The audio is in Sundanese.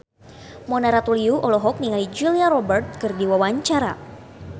Mona Ratuliu olohok ningali Julia Robert keur diwawancara